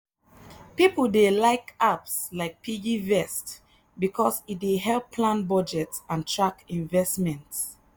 people dey like apps like piggyvest because e dey help plan budget and track investment.